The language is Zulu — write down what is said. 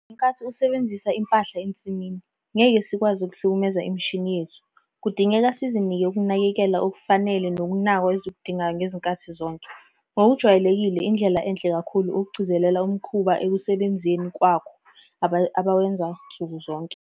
Ngenkathi usebenzisa impahla ensimini, ngeke sikwazi ukuhlukumeza imishini yethu. Kudingeka sizinike ukunakekeleka okufanele nokunakwa ezikudingayo ngezikhathi zonke. Ngokujwayelekile indlela enhle kakhulu ukugcizelela umkhuba ekusebenzeni kwakho abawenza nsukuzonke.